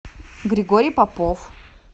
григорий попов